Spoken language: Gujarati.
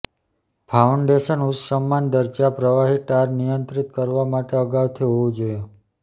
ફાઉન્ડેશન ઉચ્ચ સન્માનના દરજ્જા પ્રવાહી ટાર નિયંત્રિત કરવા માટે અગાઉથી હોવું જોઈએ